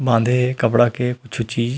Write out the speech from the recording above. बांधे हे कपड़ा के कुछु चीज--